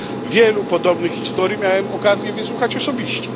Wielu podobnych historii miałem okazję wysłuchać osobiście.